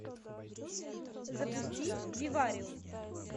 запусти вивариум